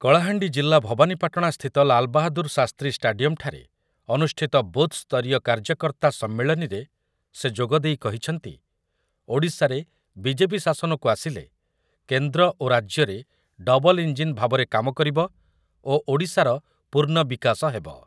କଳାହାଣ୍ଡି ଜିଲ୍ଲା ଭବାନୀପାଟଣାସ୍ଥିତ ଲାଲ୍‌ବାହାଦୂର ଶାସ୍ତ୍ରୀ ଷ୍ଟାଡିୟମ୍‌ଠାରେ ଅନୁଷ୍ଠିତ ବୁଥ୍ ସ୍ତରୀୟ କାର୍ଯ୍ୟକର୍ତ୍ତା ସମ୍ମିଳନୀରେ ସେ ଯୋଗଦେଇ କହିଛନ୍ତି, ଓଡ଼ିଶାରେ ବିଜେପି ଶାସନକୁ ଆସିଲେ କେନ୍ଦ୍ର ଓ ରାଜ୍ୟ ରେ ଡବଲ୍ ଇଂଜିନ୍ ଭାବରେ କାମ କରିବ ଓ ଓଡ଼ିଶାର ପୂର୍ଣ୍ଣ ବିକାଶ ହେବ ।